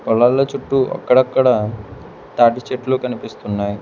పొల్లాల్ల చుట్టూ అక్కడక్కడా తాట్టి చెట్లు కనిపిస్తున్నాయ్.